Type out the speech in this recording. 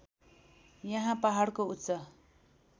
यहाँ पहाडको उच्च